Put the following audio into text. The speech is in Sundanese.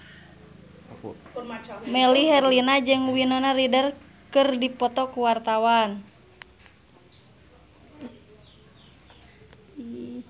Melly Herlina jeung Winona Ryder keur dipoto ku wartawan